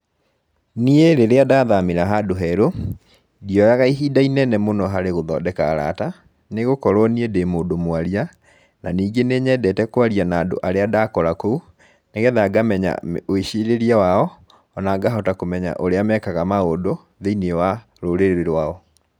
Niĩ rĩrĩa ndathamĩra handũ herũ, ndioyaga ihinda inene mũno harĩ gũthondeka arata, nĩ gũkorwo niĩ ndĩ mũndũ mwaria, na ningĩ nĩ nyendete kwaria na andũ arĩa ndakora kũu, nĩgetha ngamenya wĩcirĩrie wao, o na ngahota kũmenya ũrĩa mekaga maũndũ, thĩiniĩ wa rũrĩrĩ rwao.